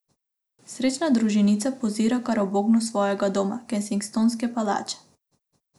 Srečna družinica pozira kar ob oknu svojega doma, Kensingtonske palače.